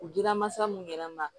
U dira masa minnu yɛrɛ ma